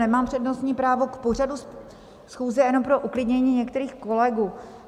Nemám přednostní právo, k pořadu schůze, jenom pro uklidnění některých kolegů.